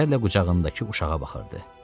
Kədərlə qucağındakı uşağa baxırdı.